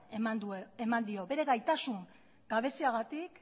eman dio bere gaitasun gabeziagatik